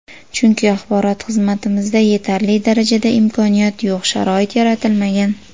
Chunki axborot xizmatimizda yetarli darajada imkoniyat yo‘q, sharoit yaratilmagan.